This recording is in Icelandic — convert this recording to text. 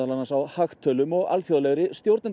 á hagtölum og alþjóðlegri